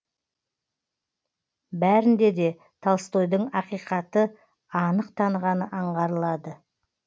бәрінде де толстойдың ақиқатты анық танығаны аңғарылады